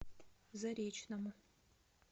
заречному